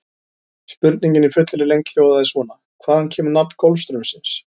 Spurningin í fullri lengd hljóðaði svona: Hvaðan kemur nafn Golfstraumsins?